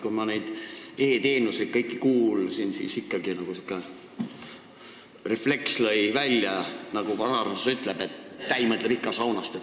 Kui ma kõikidest nendest e-teenustest siin kuulsin, siis lõi mul välja säärane refleks, mille kohta vanarahvas ütleb, et täi mõtleb ikka saunast.